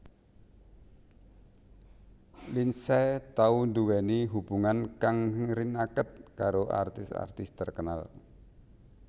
Lindsay tau nduwèni hubungan kang rinaket karo artis artis terkenal